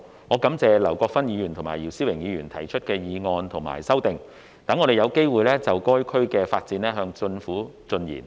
我感謝劉國勳議員及姚思榮議員分別提出議案和修正案，讓我們有機會就該區的發展向政府進言。